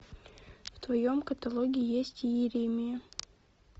в твоем каталоге есть иеремия